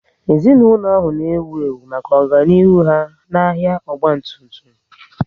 Ezinaụlọ ahụ na ewu ewu maka ọganihu ha n'ahia ọgba tum tum